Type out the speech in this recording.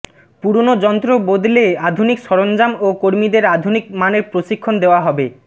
পুরনো যন্ত্র বদলে আধুনিক সরঞ্জাম ও কর্মীদের আধুনিক মানের প্রশিক্ষণ দেওয়া হবে